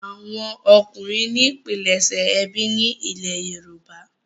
àwọn ọkunrin ní pilẹṣẹ ẹbí ní ilè yorùbá.